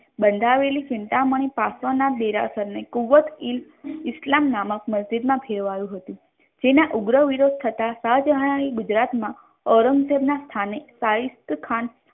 બંધાવેલી ચિંતામણી પાર્શ્વનાથ દેરાસર ને કૃવતઇલ ઇસ્લામ નામક મજિદ મા ફેરવાયુ હતુ જેના ઉગ્રહ વિરોધ થતા શાહજહાન એ ગુજરાત મા ઔરંગઝેબ ના સ્થાને સાહીસ્ત્ખાન